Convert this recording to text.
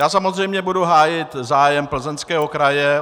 Já samozřejmě budu hájit zájem Plzeňského kraje.